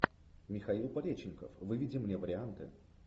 михаил пореченков выведи мне варианты